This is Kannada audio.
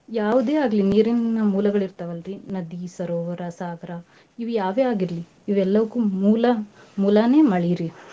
ಯಾವ್ದೇ ಆಗ್ಲಿ ನೀರಿನ್ ಮೂಲಗಳಿರ್ತಾವಲ್ರಿ , ನದಿ, ಸರೋವರ, ಸಾಗ್ರಾ ಇವ್ಯಾವೇ ಆಗಿರ್ಲಿ ಇವೆಲ್ಲವಕ್ಕೂ ಮೂಲ~ ಮೂಲನೇ ಮಳೇರಿ.